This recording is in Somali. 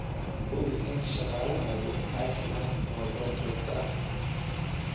Hubi in shaqaalahaagu ay helaan tababar joogto ah.